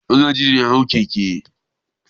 Magaji ne ya hau keke.